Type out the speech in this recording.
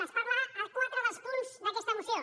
se’n parla a quatre dels punts d’aquesta moció